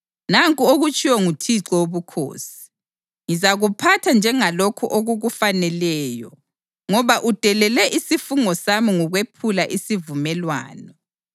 Nanku okutshiwo nguThixo Wobukhosi: Ngizakuphatha njengalokhu okukufaneleyo, ngoba udelele isifungo sami ngokwephula isivumelwano.